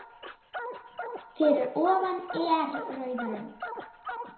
Fyrir ofan er rauð rönd.